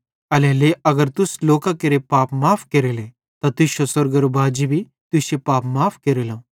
एल्हेरेलेइ अगर तुस लोकां केरे पाप माफ़ केरेले त तुश्शो स्वर्गेरो बाजी भी तुश्शे पाप माफ़ केरेलो